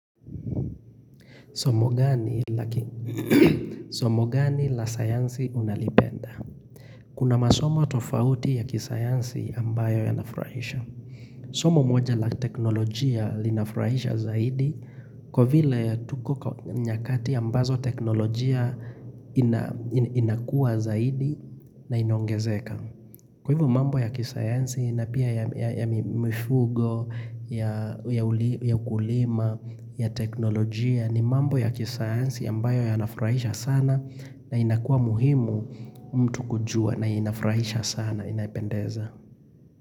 Somo gani la sayansi unalipenda? Kuna masomo tofauti ya kisayansi ambayo yanafurahisha. Somo moja la teknolojia linafurahisha zaidi, kwa vile tuko nyakati ambazo teknolojia inakua zaidi na inaongezeka. Kwa hivo mambo ya kisayansi na pia ya mifugo, ya ukulima, ya teknolojia, ni mambo ya kisayansi ambayo yanafuraisha sana na inakuwa muhimu mtu kujua na inafuraisha sana inapendeza.